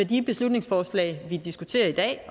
de beslutningsforslag vi diskuterer i dag